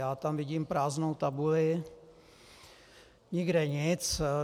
Já tam vidím prázdnou tabuli, nikde nic.